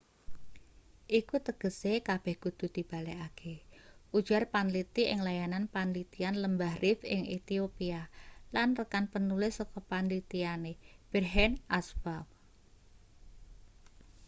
iku tegese kabeh kudu dibalekake ujar panliti ing layanan panlitian lembah rift ing ethiopia lan rekan penulis saka panlitiane berhane asfaw